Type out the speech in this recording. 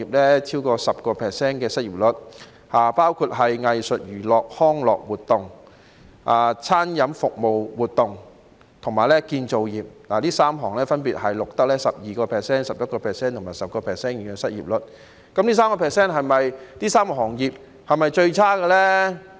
失業率超過 10% 的有藝術、娛樂及康樂活動業、餐飲服務活動業和建造業，這3個行業分別錄得 12%、11% 和 10% 的失業率，但這3個行業的情況是否最差呢？